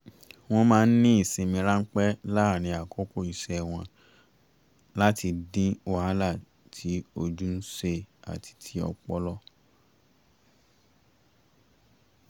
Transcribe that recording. wọ́n máa ń ní ìsinmi ránpẹ́ láàárín àkókò iṣẹ́ wọ́n láti dín wàhálà tí ojú ń ṣe àti ti ọpọlọ